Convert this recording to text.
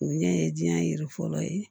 O ɲɛ ye diɲɛ yɛrɛ fɔlɔ ye